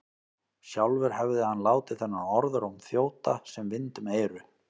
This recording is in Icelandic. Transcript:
Sjálfur hefði hann látið þennan orðróm þjóta sem vind um eyru.